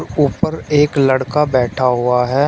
ऊपर एक लड़का बैठा हुआ है।